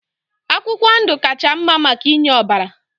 Akwụkwọ ndụ kacha mma maka inye ọbara